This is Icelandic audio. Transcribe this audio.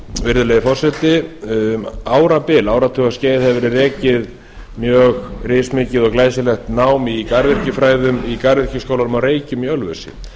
virðulegi forseti um árabil áratugaskeið hefur verið rekið mjög rismikið og glæsilegt nám í garðyrkjufræðum í garðyrkjuskólanum að reykjum í ölfusi